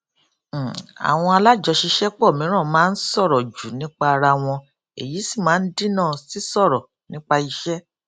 um àwọn alájọṣiṣẹpọ mìíràn máa ń sọrọ jù nípa ara wọn èyí sì máa ń dínà sí sọrọ nípa iṣẹ